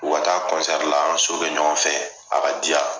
U Ka ta'a kɔnsɛri la an ka so bɛ ɲɔgɔnfɛ a ka diya